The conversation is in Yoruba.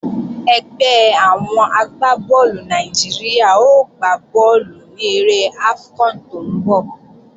Ẹgbẹ́ àwọn agbá bọ́ọ̀lù Nàìjíríà ó gbá bọ́ọ̀lù ní eré AFCON tó ń bọ̀